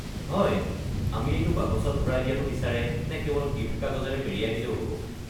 হয়, আমি এইটো বাকচত ভৰাই দিয়াটো বিচাৰে নে কেৱল গিফ্ট কাগজেৰে মেৰিয়াই দিলেও হ'ব?